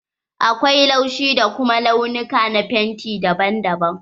Akwai laushi da kuma launuka na fenti daban daban.